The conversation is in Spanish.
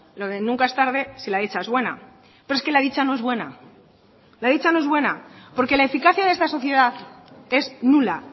lo de nunca es tarde si la dicha es buena pero es que la dicha no es buena la dicha no es buena porque la eficacia de esta sociedad es nula